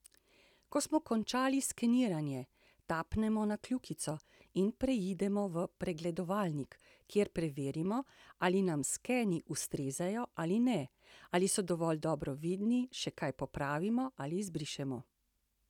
Ko smo končali skeniranje, tapnemo na kljukico in preidemo v pregledovalnik, kjer preverimo, ali nam skeni ustrezajo ali ne, ali so dovolj dobro vidni, še kaj popravimo ali izbrišemo.